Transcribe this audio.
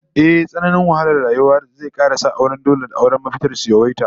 Ehh, tsananin wahalar rayuwa zai kara sa auren dole da auren mafitar su yawaita